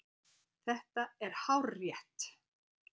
Þetta er hárrétt.